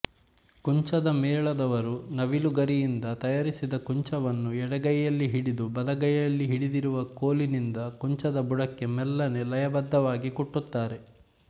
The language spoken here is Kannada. ಕುಂಚದ ಮೇಳದವರು ನವಿಲುಗರಿಯಿಂದ ತಯಾರಿಸಿದ್ದ ಕುಂಚವನ್ನು ಎಡಗೈಯಲ್ಲಿ ಹಿಡಿದು ಬಲಗೈಲಿ ಹಿಡಿದಿರುವ ಕೋಲಿನಿಂದ ಕುಂಚದ ಬುಡಕ್ಕೆ ಮೆಲ್ಲನೆ ಲಯಬದ್ದವಾಗಿ ಕುಟ್ಟುತ್ತಾರೆ